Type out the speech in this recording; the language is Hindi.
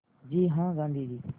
जी हाँ गाँधी जी